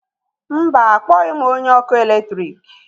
mba, akpọghị m onye ọkụ eletrik